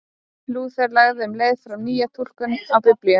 Lúther lagði um leið fram nýja túlkun á Biblíunni.